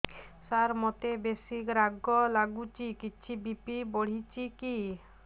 ସାର ମୋତେ ବେସି ରାଗ ଲାଗୁଚି କିଛି ବି.ପି ବଢ଼ିଚି କି